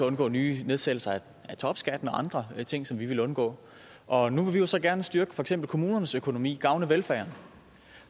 undgå nye nedsættelser af topskatten og andre ting som vi ville undgå og nu vil vi jo så gerne styrke for eksempel kommunernes økonomi gavne velfærden